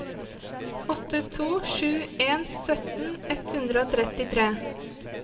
åtte to sju en sytten ett hundre og trettitre